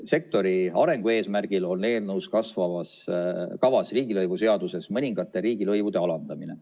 Sektori arengu eesmärgil on eelnõus kavas riigilõivuseaduses mõningate riigilõivude alandamine.